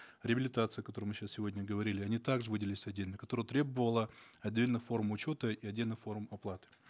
реабилитация о которой мы сейчас сегодня говорили они так же выделились отдельно которое требовало отдельных форм учета и отдельных форм оплаты